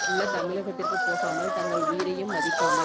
உள்ள தமிழகத்திற்கு போகாமல் தங்கள் உயிரையும் மதிக்காமல்